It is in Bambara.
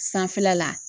Sanfɛla la